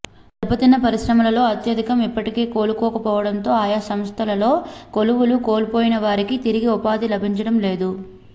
దెబ్బ తిన్న పరిశ్రమలలో అత్యధికం ఇప్పటికీ కోలుకోకపోవడంతో ఆయా సంస్థలో కొలువులు కోల్పోయిన వారికి తిరిగి ఉపాధి లభించడం లేదు